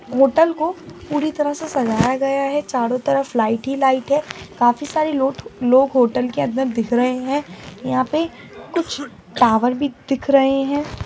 होटल को पूरी तरह से सजाया गया है चारो तरफ लाइट ही लाइट है काफी सारे लोट लोग होटल के अंदर दिख रहे है यहां पे कुछ टावर भी दिख रहे हैं।